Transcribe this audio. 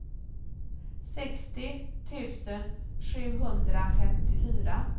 sextio tusen sjuhundrafemtiofyra